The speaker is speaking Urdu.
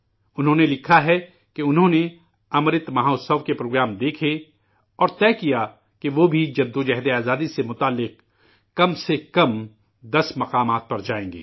انہوں نے لکھا ہے کہ انہوں نے 'امرت مہوتسو' کے پروگرام دیکھے اور طے کیا کہ وہ بھی جد وجہد آزادی سے جڑے کم سے کم 10 مقامات پر جائیں گے